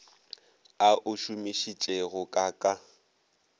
a o šomišitšego ka ka